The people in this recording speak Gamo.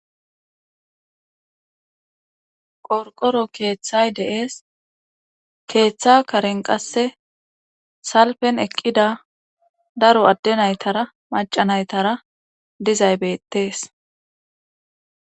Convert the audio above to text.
Qorqoro keeththay de7ees keeththa karen qasse salpen eqqida daro adde naytara maca naytara dizaybetees.